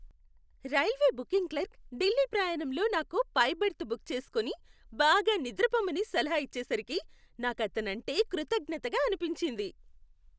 Railway booking clerk Delhi ప్రయాణంలో నాకు పై బెర్త్ బుక్ చేసుకుని, బాగా నిద్రపోమని సలహా ఇచ్చేసరికి నాకు అతనంటే కృతజ్ఞతగా అనిపించింది.